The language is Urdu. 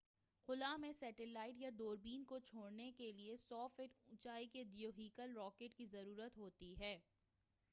خلا میں سٹیلائٹ یا دوربین کو چھوڑنے کے لئے 100 فٹ اونچائی کے دیوہیکل راکٹ کی ضرورت ہوتی ہے